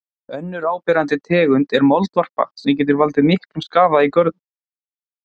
Önnur áberandi tegund er moldvarpa sem getur valdið miklum skaða í görðum.